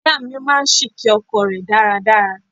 Ìyá mi máa ń ṣìké ọkọ rẹ̀ dáradára.